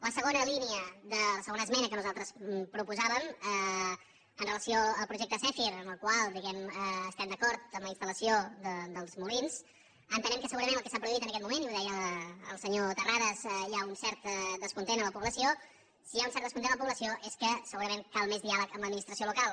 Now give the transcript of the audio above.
la segona línia la segona esmena que nosaltres proposàvem amb relació al projecte zèfir amb el qual diguem ne estem d’acord amb la instal·lació dels molins entenem que segurament el que s’ha prohibit en aquest moment i ho deia el senyor terrades hi ha un cert descontent a la població i si hi ha un cert descontent a la població és que segurament cal més diàleg amb l’administració local